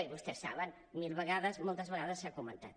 i vostès ho saben mil vegades moltes vegades s’ha comentat